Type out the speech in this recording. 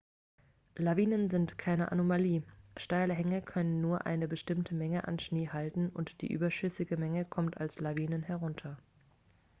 lawinen sind keine anomalie steile hänge können nur eine bestimmte menge an schnee halten und die überschüssige menge kommt als lawinen herunter